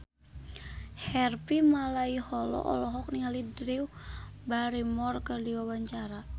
Harvey Malaiholo olohok ningali Drew Barrymore keur diwawancara